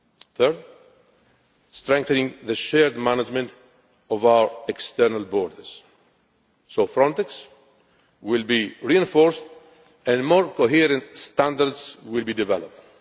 Thirdly, strengthening the shared management of our external borders Frontex will be reinforced and more coherent standards will be developed.